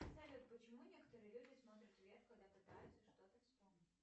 салют почему некоторые люди смотрят вверх когда пытаются что то вспомнить